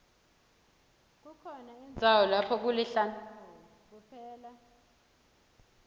kukhona indzawo lapho kulihlane khona kuphela